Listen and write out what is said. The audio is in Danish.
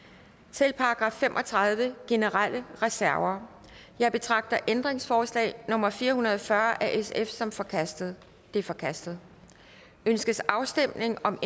til § fem og tredive generelle reserver jeg betragter ændringsforslag nummer fire hundrede og fyrre af sf som forkastet det er forkastet ønskes afstemning om